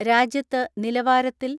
രാജ്യത്ത് നില വാ ര ത്തിൽ